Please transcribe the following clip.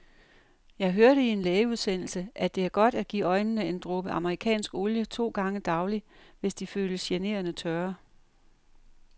Jeg hørte i en lægeudsendelse, at det er godt at give øjnene en dråbe amerikansk olie to gange daglig, hvis de føles generende tørre.